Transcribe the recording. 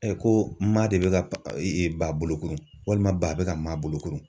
ko maa de bɛ ka ba bolo walima ba bɛ ka maa bolo kurun.